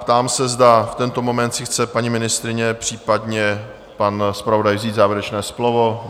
Ptám se, zda v tento moment si chce paní ministryně, případně pan zpravodaj vzít závěrečné slovo?